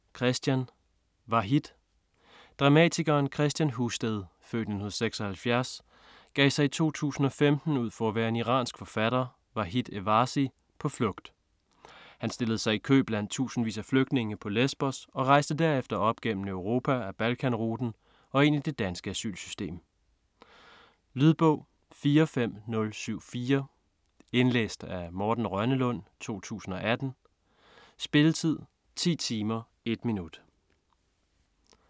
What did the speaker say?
Husted, Kristian: Vahid Dramatikeren Kristian Husted (f. 1976) gav sig i 2015 ud for at være en iransk forfatter, Vahid Evazi, på flugt. Han stillede sig i kø blandt tusindvis af flygtninge på Lesbos og rejste derefter op gennem Europa ad Balkan-ruten og ind i det danske asylsystem. Lydbog 45074 Indlæst af Morten Rønnelund, 2018. Spilletid: 10 timer, 1 minut.